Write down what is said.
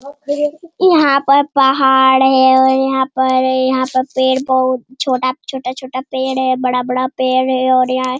ये यहाँ पर पहाड़ है और यहाँ पर ये यहाँ पर पेड़ पौ छोटा-छोटा पेड़ है बड़ा-बड़ा पेड़ है और यहाँ--